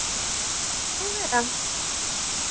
Má vera.